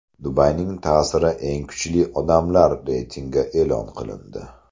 Dubayning ta’siri eng kuchli odamlari reytingi e’lon qilindi.